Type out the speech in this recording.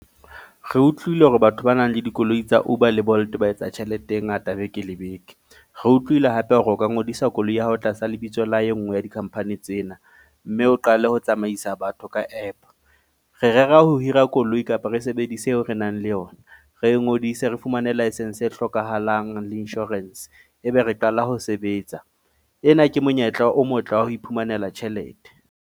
Re utlwile hore batho ba nang le dikoloi tsa Uber le Bolt ba etsa tjhelete e ngata beke le beke. Re utlwile hape hore o ka ngodisa koloi ya hao tlasa lebitso la e nngwe ya di-company tsena. Mme o qale ho tsamaisa batho ka app. Re rera ho hira koloi kapa re sebedise eo re nang le yona. Re ngodise re fumane licence e hlokahalang le insurance ebe re qala ho sebetsa. Ena ke monyetla o motle wa ho iphumanela tjhelete.